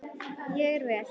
Ég er vél.